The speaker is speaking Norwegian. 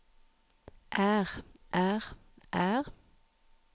er er er